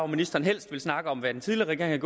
ministeren helst vil snakke om hvad den tidligere regering